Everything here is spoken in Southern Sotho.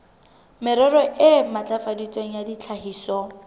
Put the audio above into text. merero e ntlafaditsweng ya tlhahiso